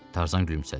Tarzan gülümsədi.